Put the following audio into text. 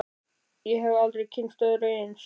Ég hef aldrei kynnst öðru eins.